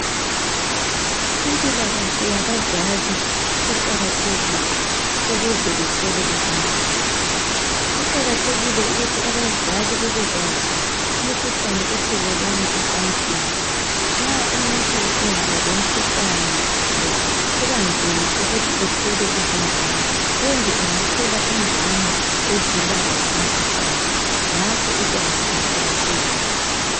Impilakahle yabazali iqakathekile ukuze bathole ingane. Kuqakathekile ukuthi abazali babekwazi imikhuhlane ethelelwana ecansini nxa umuntu engaba lomkhuhlane lo kubanzima ukuthi athole izingane kumbe angathola ingane ezilawo umkhuhlane ngakho ulwazi luqakathekile.